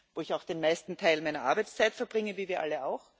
wo ich auch den meisten Teil meiner Arbeitszeit verbringe, wie wir alle.